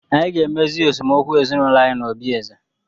Anyị ga-emezi esemokwu ezinụlọ anyị n'obi eze.